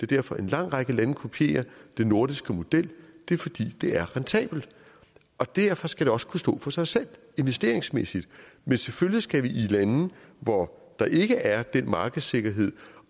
derfor en lang række lande kopierer den nordiske model det er fordi det er rentabelt og derfor skal det også kunne stå for sig selv investeringsmæssigt men selvfølgelig skal vi i lande hvor der ikke er den markedssikkerhed